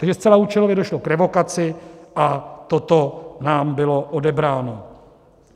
Takže zcela účelově došlo k revokaci a toto nám bylo odebráno.